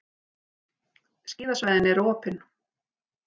Skíðasvæðin eru opin